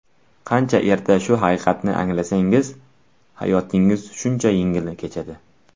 Qancha erta shu haqiqatni anglasangiz, hayotingiz shuncha yengil kechadi.